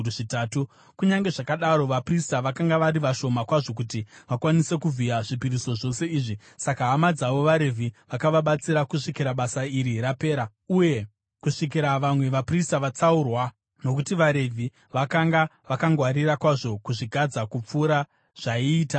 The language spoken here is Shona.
Kunyange zvakadaro, vaprista vakanga vari vashoma kwazvo kuti vakwanise kuvhiya zvipiriso zvose izvi; saka hama dzavo vaRevhi vakavabatsira kusvikira basa iri rapera uye kusvikira vamwe vaprista vatsaurwa nokuti vaRevhi vakanga vakangwarira kwazvo kuzvigadza kupfuura zvaiita vaprista.